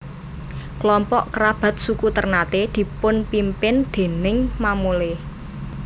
Kelompok kerabat suku Ternate dipunpimpin déning mamole